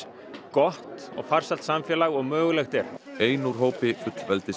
gott og farsælt samfélag og mögulegt er ein úr hópi